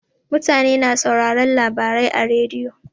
Mutane na sauraron labarai a rediyo.